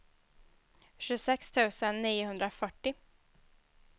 tjugosex tusen niohundrafyrtio